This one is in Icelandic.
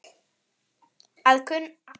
Að kunna að bjarga sér!